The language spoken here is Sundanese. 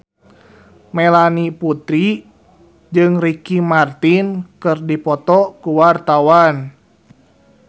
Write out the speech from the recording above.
Melanie Putri jeung Ricky Martin keur dipoto ku wartawan